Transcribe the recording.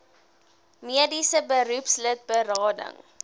mediese beroepslid berading